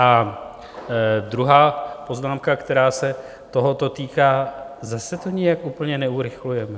A druhá poznámka, která se tohoto týká: Zase to nijak úplně neurychlujeme.